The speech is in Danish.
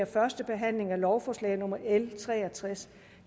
første behandling af lovforslag nummer l tre og tres